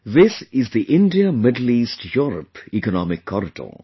This is the IndiaMiddle EastEurope Economic Corridor